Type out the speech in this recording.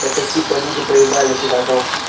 это типа люди поебались и потом